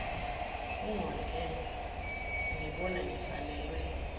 ungondle ungibona ngifanelwe